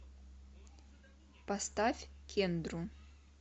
поставь кендру